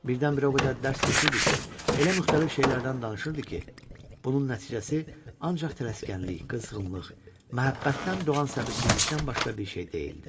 Birdən-birə o qədər dərs keçirdi ki, elə müxtəlif şeylərdən danışırdı ki, bunun nəticəsi ancaq tələskənlik, qızğınlıq, məhəbbətdən doğan səbirsizlikdən başqa bir şey deyildi.